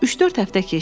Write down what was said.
Üç-dörd həftə keçdi.